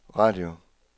radio